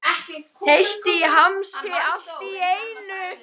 Heitt í hamsi allt í einu.